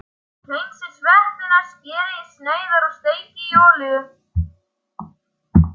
Hreinsið sveppina, skerið í sneiðar og steikið í olíu.